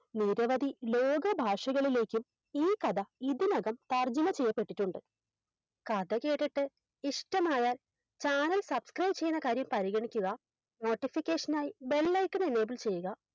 നിരവധി ലേഖ ഭാഷകളിലേക്കും ഈ കഥ ഇതിനകം തർജ്ജമ ചെയ്യപ്പെട്ടിട്ടുണ്ട് കഥ കേട്ടിട്ട് ഇഷ്ടമായാൽ Channel subscribe ചെയ്‌ന്ന കാര്യം പരിഗണിക്കുക Notification നായി Bell icon enable ചെയ്യുക